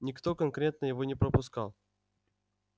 никто конкретно его не пропускал